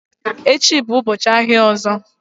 Tomorrow is the next market day